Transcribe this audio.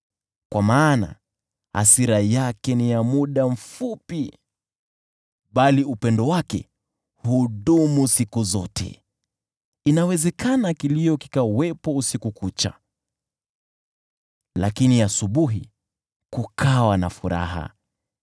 Kwa maana hasira yake ni ya muda mfupi, bali upendo wake hudumu siku zote. Inawezekana kilio kiwepo usiku kucha, lakini asubuhi kukawa na furaha.